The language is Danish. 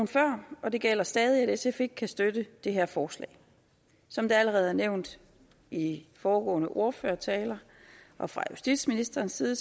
før og det gælder stadig at sf ikke kan støtte det her forslag som det allerede er nævnt i i foregående ordførertaler og fra justitsministerens side